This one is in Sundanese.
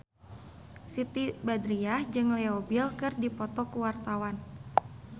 Siti Badriah jeung Leo Bill keur dipoto ku wartawan